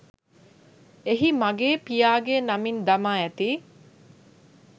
එහි මගේ පියාගේ නමින් දමා ඇති